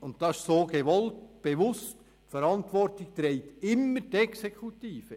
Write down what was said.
Die Verantwortung trägt immer die Exekutive.